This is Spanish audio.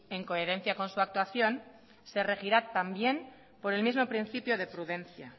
en coherencia con su actuación se regirá también por el mismo principio de prudencia